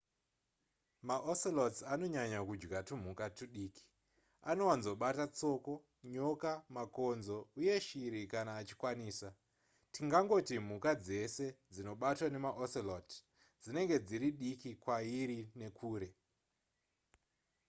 maocelots anonyanya kudya tumhuka tudiki anowanzobata tsoko nyoka makonzo uye shiri kana achikwanisa tingatoti mhuka dzese dzinobatwa nemaocelot dzinenge dziri diki kwairi nekure